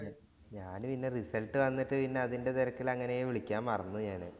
ഞാന് പിന്നെ result വന്നിട്ട് പിന്നെ അതിന്‍റെ തിരക്കില് അങ്ങനെ വിളിക്കാന്‍ മറന്നുപോയ്‌ ഞാനെ.